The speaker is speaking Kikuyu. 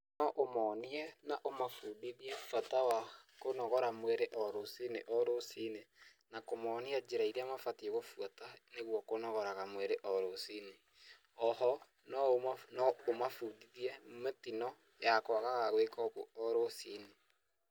No ũmonie na ũmabundithie bata wa kunogora mwĩrĩ o rũcinĩ o rũcinĩ, na kũmonia njĩra ĩrĩa mabatie gũbuata nĩguo kũnogoraga mwĩrĩ o rũcinĩ, oho noũma noũmabundithie mĩtino ya kũagaga gwĩka ũguo o rũcinĩ.